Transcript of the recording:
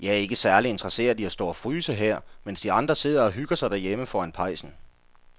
Jeg er ikke særlig interesseret i at stå og fryse her, mens de andre sidder og hygger sig derhjemme foran pejsen.